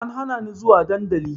An hana ni zuwa dandali